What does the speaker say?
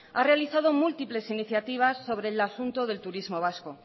ha realizado múltiples iniciativas sobre el asunto del turismo vasco